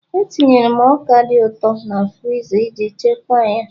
Etinyere m ọka dị ụtọ na friza iji chekwaa ya